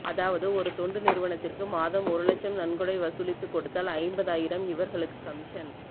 அதாவது ஒரு தொண்டு நிறுவனத்திற்கு மாதம் ஒரு லட்சம் நன்கொடை வசூலித்து கொடுத்தால் ஐம்பதாயிரம் இவர்களுக்கு கமிசன்